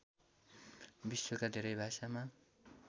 विश्वका धेरै भाषामा